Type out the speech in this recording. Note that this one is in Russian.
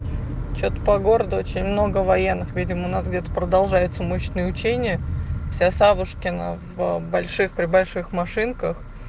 что-то по городу очень много военных видимо у нас где-то продолжается мощный учения все савушкина в больших при больших машинках